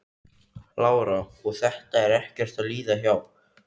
Lára: Og þetta er ekkert að líða hjá?